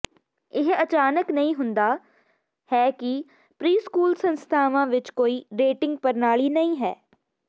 ਇਹ ਅਚਾਨਕ ਨਹੀਂ ਹੁੰਦਾ ਹੈ ਕਿ ਪ੍ਰੀਸਕੂਲ ਸੰਸਥਾਵਾਂ ਵਿਚ ਕੋਈ ਰੇਟਿੰਗ ਪ੍ਰਣਾਲੀ ਨਹੀਂ ਹੈ